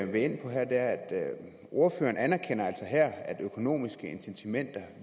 vil ind på her er at ordføreren anerkender at økonomiske incitamenter